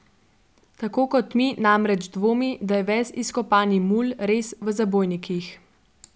Tako kot mi namreč dvomi, da je ves izkopani mulj res v zabojnikih.